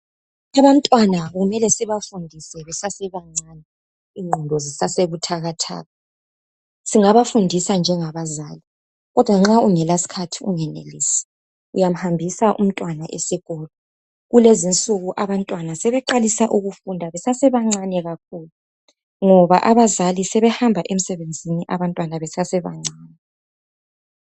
Abantwana kumele sibafundise besase bancane ingqondo zisase buthakathaka. Singabafundisa njengabazali kodwa nxa ungela sikhathi ungenelisi uyamhambisa umntwana esikolo. Kulezi insuku abantwana sebeqalisa besase bancane kakhulu ngoba abazali sebehamba emsebenzini abantwana besase bancane.